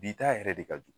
Bi ta yɛrɛ de ka jugu